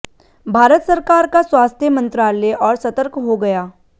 भारत सरकार का स्वास्थ्य मंत्रालय और सतर्क हो गया